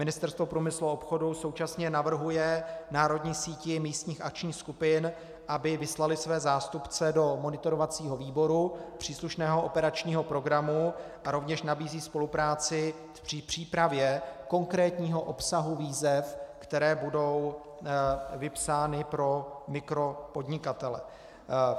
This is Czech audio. Ministerstvo průmyslu a obchodu současně navrhuje národní síti místních akčních skupin, aby vyslaly své zástupce do monitorovacího výboru příslušného operačního programu, a rovněž nabízí spolupráci při přípravě konkrétního obsahu výzev, které budou vypsány pro mikropodnikatele.